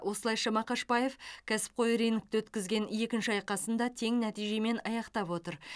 осылайша мақашбаев кәсіпқой рингте өткізген екінші айқасын да тең нәтижемен аяқтап отыр